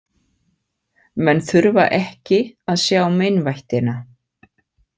Menn þurfa ekki að sjá meinvættina.